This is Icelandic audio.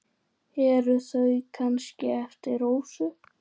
Eru þau kannski eftir Rósu?